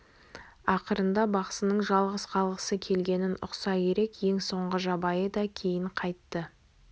ақырында бақсының жалғыз қалғысы келгенін ұқса керек ең соңғы жабайы да кейін қайтты